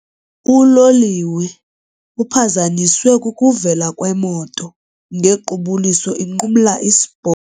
Uloliwe uphazanyiswe kukuvela kwemoto ngequbuliso inqumla isipo.